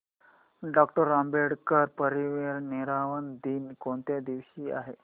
doctor Ambedkar महापरिनिर्वाण दिन कोणत्या दिवशी आहे